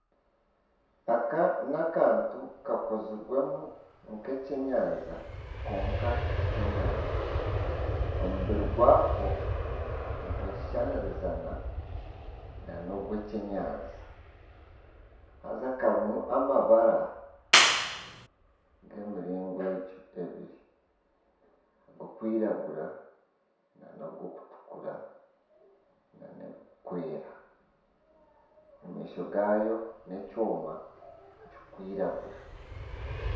Aka nakantu kakozireemu nkekyenyanja kwonka tikyenyanja omubiri gwako nigweshushaniriza nk;ogw'ekyenyanja, haza karimu amabara g'emiringo ebiri ogurikwiragura nana ogw'okutukura nana ebirikwera amaisho gaayo n'ekyoma kirikwiragura.